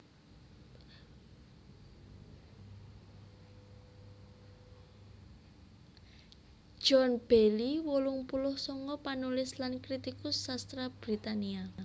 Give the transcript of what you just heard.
John Bayley wolung puluh sanga panulis lan kritikus sastra Britania